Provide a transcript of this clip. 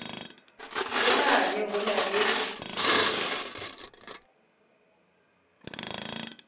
le mane ho na le